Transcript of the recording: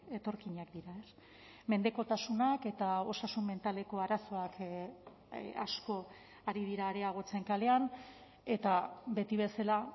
etorkinak dira mendekotasunak eta osasun mentaleko arazoak asko ari dira areagotzen kalean eta beti bezala